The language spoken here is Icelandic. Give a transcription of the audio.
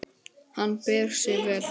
Hann ber sig vel.